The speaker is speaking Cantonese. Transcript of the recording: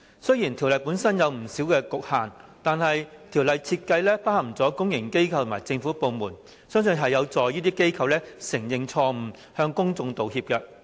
雖然條例草案本身有不少局限，但其設計已涵蓋公營機構和政府部門，相信將有助這些機構承認錯誤、向公眾道歉。